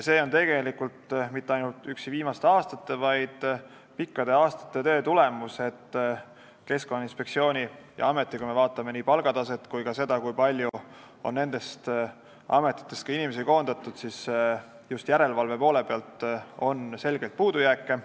See ei ole tegelikult mitte ainuüksi viimaste aastate, vaid see on pikkade aastate tegevuse tulemus, et Keskkonnainspektsioonis ja Keskkonnaametis, kui me vaatame nii palgataset kui ka seda, kui palju on nendest ametitest inimesi koondatud just järelevalve poole pealt, on selgeid puudujääke.